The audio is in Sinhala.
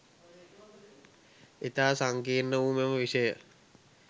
ඉතා සංකීර්ණ වූ මෙම විෂය